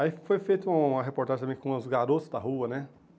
Aí foi feita uma reportagem também com os garotos da rua, né?